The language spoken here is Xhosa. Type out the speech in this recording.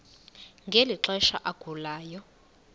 ngeli xesha agulayo